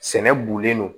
Sɛnɛ bolen no